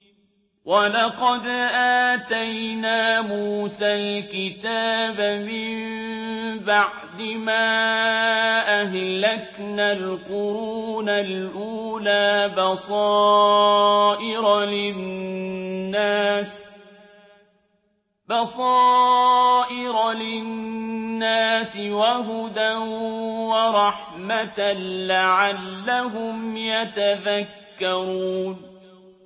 وَلَقَدْ آتَيْنَا مُوسَى الْكِتَابَ مِن بَعْدِ مَا أَهْلَكْنَا الْقُرُونَ الْأُولَىٰ بَصَائِرَ لِلنَّاسِ وَهُدًى وَرَحْمَةً لَّعَلَّهُمْ يَتَذَكَّرُونَ